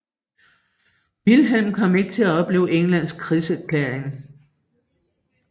Vilhelm kom ikke til at opleve Englands krigserklæring